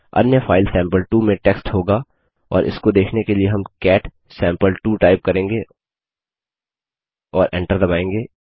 अन्य file sample में text होगा और इसको देखने के लिए हम कैट सैंपल2 टाइप करेंगे और एंटर दबायेंगे